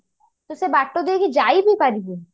ତୁ ସେ ବାଟ ଦେଇକି ଯାଇବି ପାରିବୁନି